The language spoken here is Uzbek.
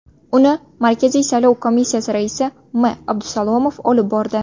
Uni Markaziy saylov komissiyasi raisi M. Abdusalomov olib bordi.